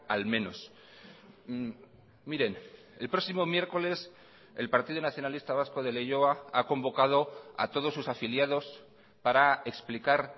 al menos miren el próximo miércoles el partido nacionalista vasco de leioa ha convocado a todos sus afiliados para explicar